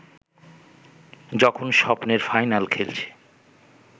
যখন স্বপ্নের ফাইনাল খেলছে